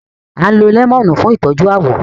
À ń lo lẹ́mọ̀nù fún ìtọ́jú àwọ̀